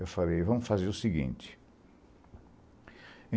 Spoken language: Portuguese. Eu falei, vamos fazer o seguinte.